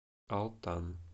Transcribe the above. алтан